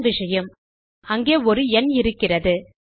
அதான் விஷயம் அங்கே ஒரு ந் இருக்கிறது